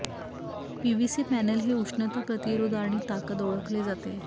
PVC panel हे उष्णता प्रतिरोध आणि ताकद ओळखले जाते